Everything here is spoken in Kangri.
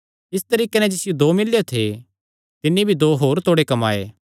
इस तरीके नैं जिसियो दो मिल्लेयो थे तिन्नी भी दो होर तोड़े कमाये